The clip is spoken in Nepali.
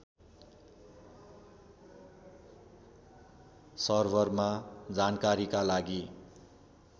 सर्भरमा जानकारीका लागि